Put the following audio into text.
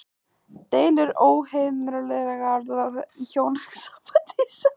Deilur verða óhjákvæmilega í hjónabandi og sambúð.